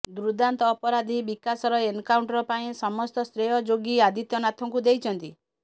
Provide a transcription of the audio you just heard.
ଦୁର୍ଦାନ୍ତ ଅପରାଧି ବିକାଶର ଏନକାଉଣ୍ଟର ପାଇଁ ସମସ୍ତ ଶ୍ରେୟ ଯୋଗୀ ଆଦିତ୍ୟନାଥଙ୍କୁ ଦେଇଛନ୍ତି